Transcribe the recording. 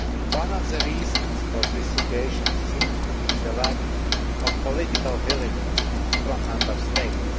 One of the reasons for this situation seems to be the lack of political willingness from Member States.